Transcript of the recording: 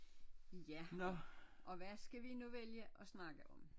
Ja og hvad skal vi nu vælge at snakke om